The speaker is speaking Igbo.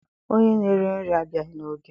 Onye na-ere nri abịaghị n'oge.